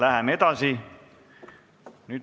Läheme edasi.